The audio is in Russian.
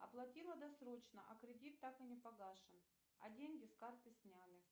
оплатила досрочно а кредит так и не погашен а деньги с карты сняли